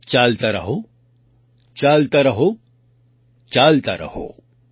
ચાલતા રહો ચાલતા રહોચાલતા રહો |